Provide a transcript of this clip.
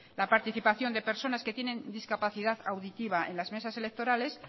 la participación de personas que tienen discapacidad auditiva en las mesas electorales